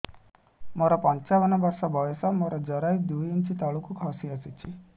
ମୁଁ ପଞ୍ଚାବନ ବର୍ଷ ବୟସ ମୋର ଜରାୟୁ ଦୁଇ ଇଞ୍ଚ ତଳକୁ ଖସି ଆସିଛି